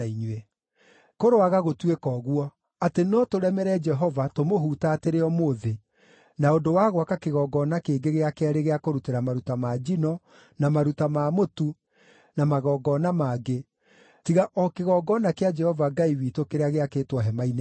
“Kũroaga gũtuĩka ũguo, atĩ no tũremere Jehova tũmũhutatĩre ũmũthĩ na ũndũ wa gwaka kĩgongona kĩngĩ gĩa keerĩ gĩa kũrutĩra maruta ma njino, na maruta ma mũtu na magongona mangĩ, tiga o kĩgongona kĩa Jehova Ngai witũ kĩrĩa gĩakĩtwo hema-inĩ yake.”